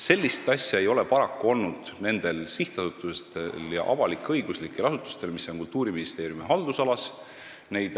Sellist asja ei ole paraku olnud nendel sihtasutustel ja avalik-õiguslikel asutustel, mis on Kultuuriministeeriumi haldusalas.